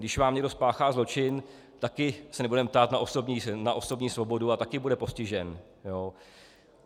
Když vám někdo spáchá zločin, taky se nebudeme ptát na osobní svobodu a taky bude postižen.